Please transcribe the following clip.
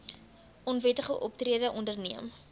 onwettige optrede onderneem